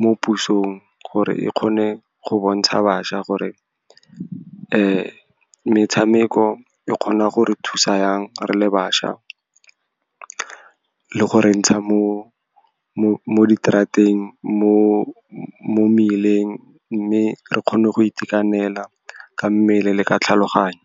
mo pusong, gore e kgone go bontsha bašwa gore metshameko e kgona gore thusa yang re le bašwa, le go re ntsha mo mmeleng, mme re kgone go itekanela ka mmele le ka tlhaloganyo.